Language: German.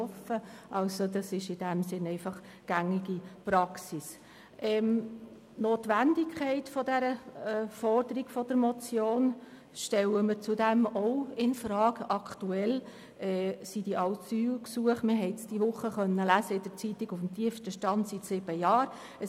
Man hat diese Woche in der Zeitung lesen können, dass sich diese Asylgesuche zurzeit auf dem tiefsten Stand seit sieben Jahren bewegen.